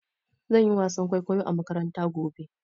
Zan yi wasan kwaikwayo a makaranta gobe.